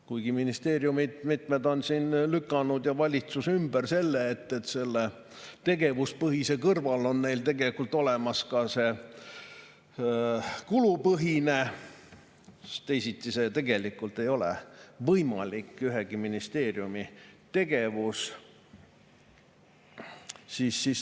Kuigi ministeeriumid ja valitsus on ümber lükanud selle, et tegevuspõhise kõrval on neil olemas ka kulupõhine, siis teisiti tegelikult ei ole võimalik ühegi ministeeriumi tegevus.